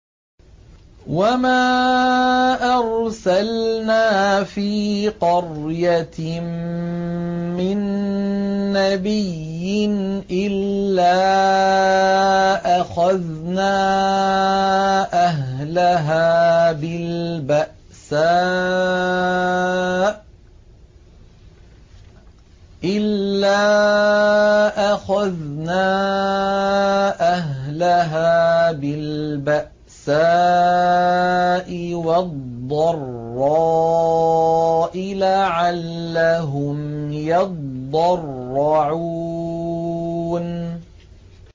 وَمَا أَرْسَلْنَا فِي قَرْيَةٍ مِّن نَّبِيٍّ إِلَّا أَخَذْنَا أَهْلَهَا بِالْبَأْسَاءِ وَالضَّرَّاءِ لَعَلَّهُمْ يَضَّرَّعُونَ